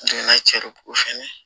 fɛnɛ